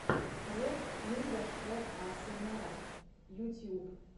трек инга шэ асмр ютьюб